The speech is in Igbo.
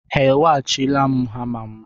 Ha eweghachila hama m?